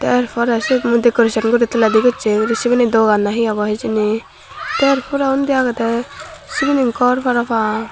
er porey syot mui decoration guri toledi gochi sibeni dogan na he obo hijeni tey er porey undi agedey syeni gor parapang.